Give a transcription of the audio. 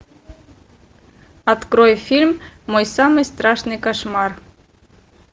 открой фильм мой самый страшный кошмар